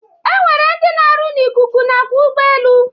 E nwere ndị na-arụ n'ikuku nakwa ụgbọelu